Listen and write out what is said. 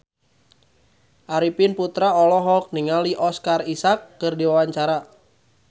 Arifin Putra olohok ningali Oscar Isaac keur diwawancara